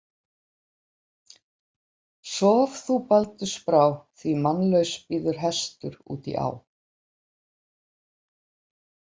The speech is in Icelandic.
Hann lifnar við og veifar og hvíslar að ég sé flink.